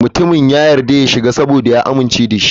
Mutumin ya yarda ya shiga saboda ya amince da shi.